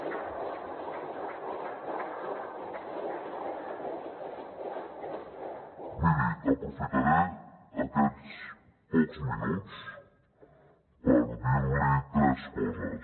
miri aprofitaré aquests pocs minuts per dir li tres coses